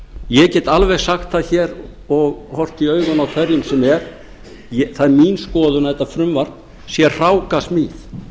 ég get alveg sagt það hér og horft í augun á hverjum sem er að það er mín skoðun að þetta frumvarp sé hrákasmíð